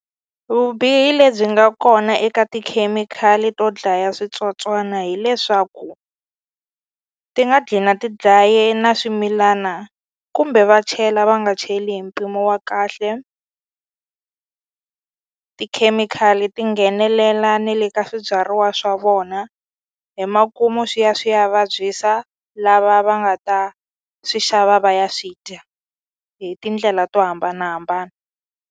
Vubihi lebyi nga kona eka tikhemikhali to dlaya switsotswana hileswaku ti nga ti dlaye na swimilana kumbe va chela va nga cheli hi mpimo wa kahle tikhemikhali ti nghenelela ne le ka swibyariwa swa vona hi makumu swi ya swi ya vabyisa lava va nga ta swi xava va ya swi dya hi tindlela to hambanahambana.